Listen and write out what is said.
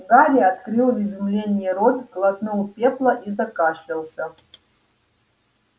гарри открыл в изумлении рот глотнул пепла и закашлялся